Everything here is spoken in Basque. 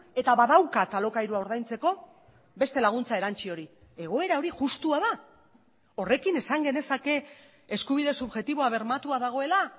eta badaukat alokairua ordaintzeko beste laguntza erantsi hori egoera hori justua da horrekin esan genezake eskubide subjektiboa bermatua dagoela